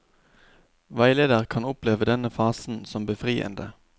Veileder kan oppleve denne fasen som befriende.